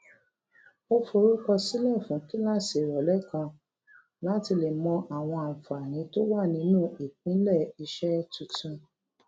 ó forúkọ sílè fún kíláàsì ìròlé kan láti lè mọ àwọn àǹfààní tó wà nínù ìpínlè iṣé tuntun